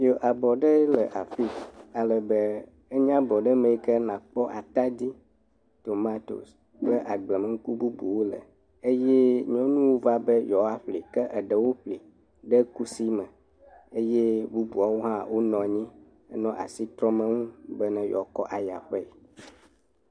Le abɔ ɖe le afi. Ale be, enye abɔ ɖe ke nakpɔ atadi, tomatosi, kple agblemenuku bubuwo le eye nyɔnuwo va be yewoa ƒli ke eɖewo ƒli ɖe kusi me eye bubuawo hã wo nɔ anyi enɔ asi trɔm enu be yewoakɔ ayi aƒee.